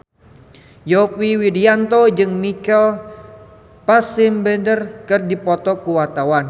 Yovie Widianto jeung Michael Fassbender keur dipoto ku wartawan